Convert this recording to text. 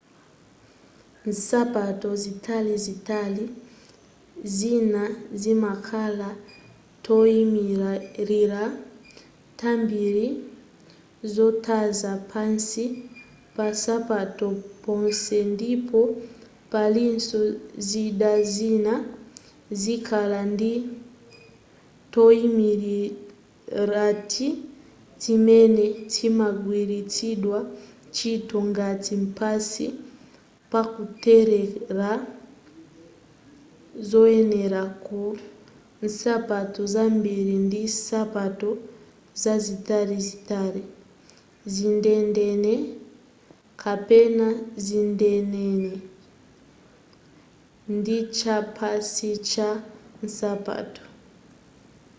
nsapato zitalizitali zina zimakhala toyimilira tambiri tozaza pansi pansapato ponse ndipo palinso zida zina zokhala ndi toyimilirati timene timagwiritsidwa ntchito ngati pansi pakutelera zoyenera ku nsapato zambiri ndi nsapato zitalizitali zidendene kapena zidendene ndichapansi cha nsapato